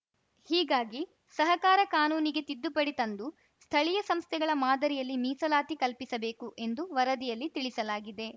ಹೀಗಾಗಿ ಸಹಕಾರ ಕಾನೂನಿಗೆ ತಿದ್ದುಪಡಿ ತಂದು ಸ್ಥಳೀಯ ಸಂಸ್ಥೆಗಳ ಮಾದರಿಯಲ್ಲಿ ಮೀಸಲಾತಿ ಕಲ್ಪಿಸಬೇಕು ಎಂದು ವರದಿಯಲ್ಲಿ ತಿಳಿಸಲಾಗಿದೆ